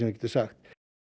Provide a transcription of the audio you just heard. getur sagt